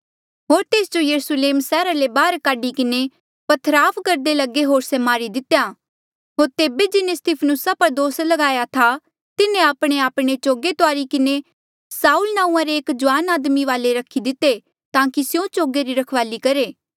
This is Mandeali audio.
होर तेस जो यरुस्लेमा सैहरा ले बाहर काढी किन्हें पथरवाह करदे लगे होर से मारी दितेया होर तेबे जिन्हें स्तिफनुसा पर दोस लगाया था तिन्हें आपणेआपणे चोगे तुआरी किन्हें साऊल नांऊँआं रे एक जुआन आदमी वाले रखी दिते ताकि स्यों चोगे री रखवाली करहे